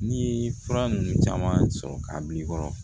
N'i ye fura ninnu caman sɔrɔ k'a bila i kɔrɔ